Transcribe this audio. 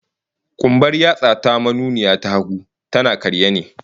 Kumbar yatsa ta manuniya ta hagu, tana karye ne